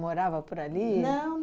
Morava por ali? Não